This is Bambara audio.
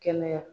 Kɛnɛya